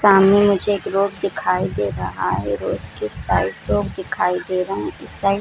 सामने मुझे एक रोड दिखाई दे रहा है रोड के साइड लोग दिखाई दे रहे इस साइड --